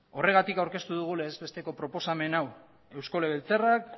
horregatik aurkeztu dugu legez besteko proposamen hau eusko legebiltzarrak